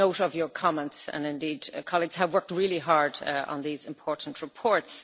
We take note of your comments and indeed colleagues have worked really hard on these important reports.